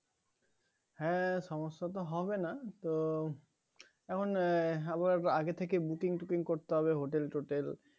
হ্যাঁ সমস্যা তো হবে না তো এখন এর আবার আগে থেকে Booking টুকিং করতে হবে Hotel টোটেল